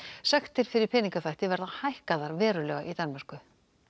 sektir fyrir peningaþvætti verða hækkaðar verulega í Danmörku